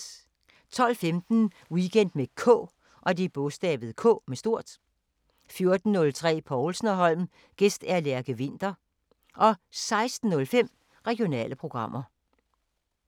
12:15: Weekend med K 14:03: Povlsen & Holm: Gæst Lærke Winther 16:05: Regionale programmer